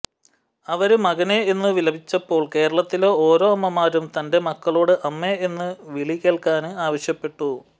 അവര് മകനേ എന്നു വിലപിച്ചപ്പോൾ കേരളത്തിലെ ഓരോ അമ്മമാരും തന്റെ മക്കളോട് അമ്മേ എന്നു വിളികേള്ക്കാന് ആവശ്യപ്പെട്ടു